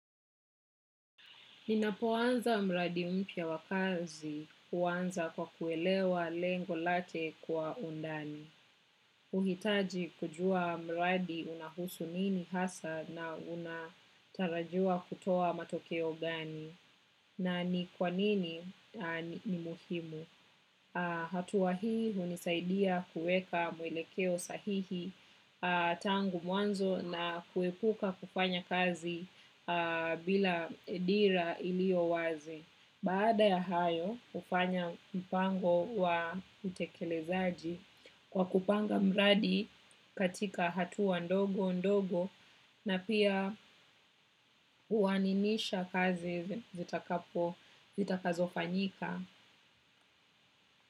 Ninapoanza mradi mpya wa kazi huanza kwa kuelewa lengo late kwa undani. Uhitaji kujua mradi unahusu nini hasa na unatarajiwa kutoa matokeo gani na ni kwanini ni muhimu. Hatua hii hunisaidia kuweka mwelekeo sahihi tangu mwanzo na kuepuka kufanya kazi bila dira ilio wazi. Baada ya hayo, hufanya mpango wa utekelezaji kwa kupanga mradi katika hatua ndogo ndogo na pia uaninisha kazi zitakazo fanyika.